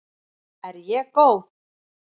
Er ég góð?